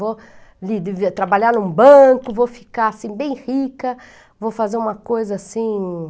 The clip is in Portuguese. Vou trabalhar em um banco, vou ficar assim, bem rica, vou fazer uma coisa assim.